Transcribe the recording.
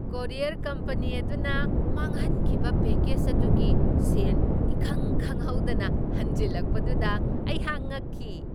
Courier company ꯑꯗꯨꯅ ꯃꯥꯡꯍꯟꯈꯤꯕ package ꯑꯗꯨꯒꯤ ꯁꯦꯟ ꯏꯈꯪ ꯈꯪꯍꯧꯗꯅ ꯍꯟꯖꯤꯜꯂꯛꯄꯗꯨꯗ ꯑꯩꯍꯥꯛ ꯉꯛꯈꯤ ꯫